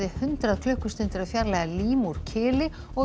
hundrað klukkustundir að fjarlægja lím úr kili og af